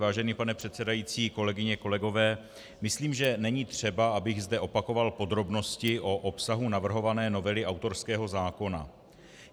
Vážený pane předsedající, kolegyně, kolegové, myslím, že není třeba, abych zde opakoval podrobnosti o obsahu navrhované novely autorského zákona.